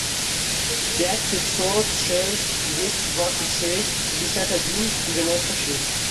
пять пятьсот шесть двести двадцать шесть пятьдесят один девяносто шесть